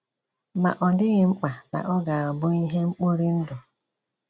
Ma ọ dị̀ghị mkpa na ọ gà-abụ́ ihe mkpòrì ndụ̀.”